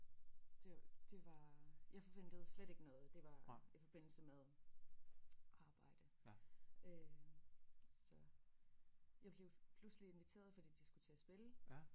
Det det var jeg forventede slet ikke noget det var i forbindelse med arbejde øh så jeg blev pludselig inviteret fordi de skulle til at spille